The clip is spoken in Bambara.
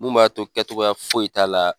Mun b'a to kɛcogoya foyi t'a la